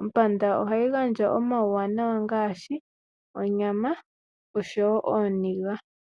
Ompanda ohayi gandja oma wuwanawa ngashi onyama oshowo ooniga.